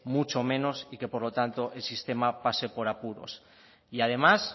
mucho menos y que por lo tanto el sistema pase por apuros y además